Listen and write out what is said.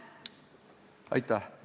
Aitäh!